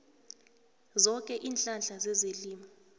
zoke iinhlahla zezelimo